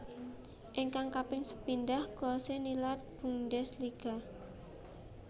Ingkang kaping sepindhah Klose nilar Bundesliga